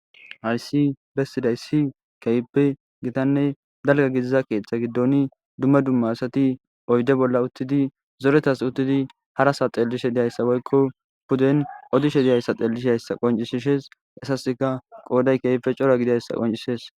Hayssi bessidayssi keehippe gitanne dalga gidiza keeththa giddoni dumma dumma asati oyde bolla uttidi zoretas uttidi harasa xellishe diyayssa woykko puden odishe diyayssa xellisheayssa qoncisishees. Hessasikka qooday keehippe cora gidayssa qoncisees.